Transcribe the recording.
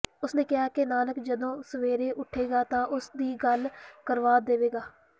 ਉਸ ਨੇ ਕਿਹਾ ਕਿ ਨਾਨਕ ਜਦੋਂ ਸਵੇਰੇ ਉੱਠੇਗਾ ਤਾਂ ਉਸ ਦੀ ਗੱਲ ਕਰਵਾ ਦੇਵੇਗਾ